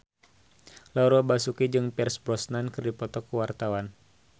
Laura Basuki jeung Pierce Brosnan keur dipoto ku wartawan